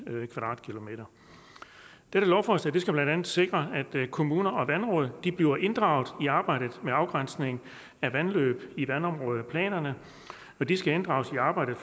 km² dette lovforslag skal blandt andet sikre at kommuner og vandråd bliver inddraget i arbejdet med afgrænsning af vandløb i vandområdeplanerne de skal inddrages i arbejdet